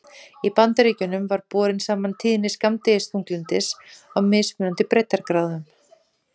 Í Bandaríkjunum var borin saman tíðni skammdegisþunglyndis á mismunandi breiddargráðum.